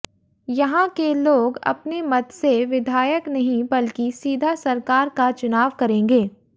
यहां के लोग अपने मत से विधायक नहीं बल्कि सीधा सरकार का चुनाव करेंगे